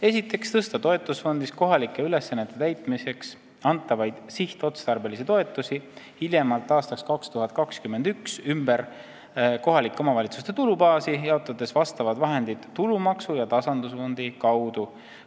Esiteks, tõsta toetusfondist kohalike ülesannete täitmiseks antavaid sihtotstarbelisi toetusi hiljemalt aastaks 2021 ümber kohalike omavalitsuste tulubaasi, jaotades vastavad vahendid tulumaksu ja tasandusfondi kaudu.